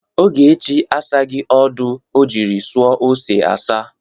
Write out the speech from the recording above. Ogechi asaghi ọdọ o jiri sọ ose asa.